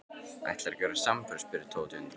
Ætlarðu ekki að verða samferða? spurði Tóti undrandi.